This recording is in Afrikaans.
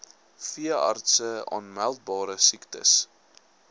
veeartse aanmeldbare siektes